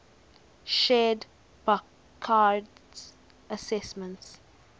shared burckhardt's assessment